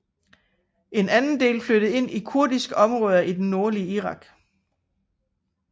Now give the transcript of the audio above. En anden del flyttede ind i kurdiske områder i det nordlige Irak